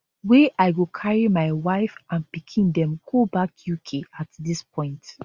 wey i go carry my wife and pikin dem go back uk at dis point